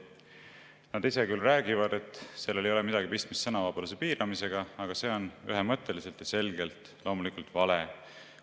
Nad ise küll räägivad, et sellel ei ole midagi pistmist sõnavabaduse piiramisega, aga see on ühemõtteliselt ja selgelt loomulikult vale.